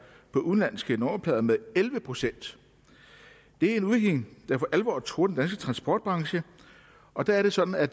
på udenlandske nummerplader med elleve procent det er en udvikling der for alvor truer den danske transportbranche og der er det sådan at